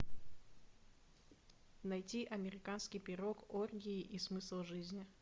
найти американский пирог оргии и смысл жизни